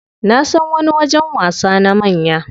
Nasan wani wajen wasa na manya.